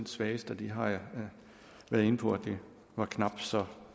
svageste og det har jeg været inde på var knap så